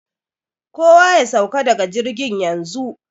Kowa ya sauka daga jirgin yanzu!